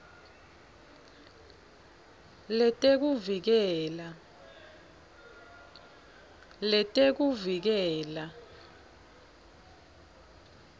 letekuvikela